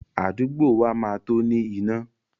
Àdúgbò wa máa tó ní iná.